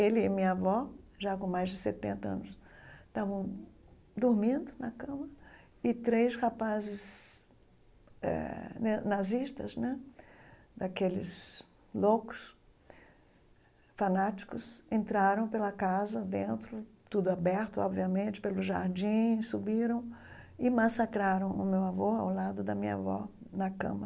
Ele e minha avó, já com mais de setenta anos, estavam dormindo na cama, e três rapazes eh né nazistas né, daqueles loucos, fanáticos, entraram pela casa dentro, tudo aberto, obviamente, pelo jardim, subiram e massacraram o meu avô ao lado da minha avó na cama.